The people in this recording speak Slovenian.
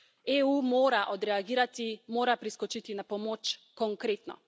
EU mora odreagirati, mora priskočiti na pomoč konkretno.